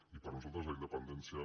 i per a nosaltres la independència